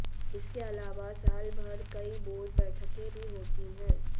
इसके अलावा साल भर कई बोर्ड बैठकें भी होती हैं